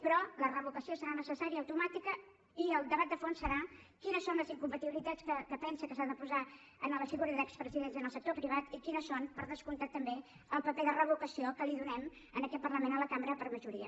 però la revocació serà necessària automàtica i el debat de fons serà quines són les incompatibilitats que es pensa que s’ha de posar en la figura d’expresidents en el sector privat i quin és per descomptat també el paper de revocació que donem a aquest parlament a la cambra per majoria